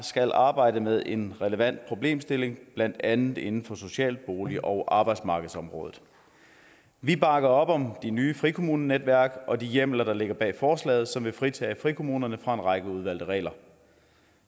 skal arbejde med en relevant problemstilling blandt andet inden for social bolig og arbejdsmarkedsområdet vi bakker op om de nye frikommunenetværk og de hjemler der ligger bag forslaget som vil fritage frikommunerne fra en række udvalgte regler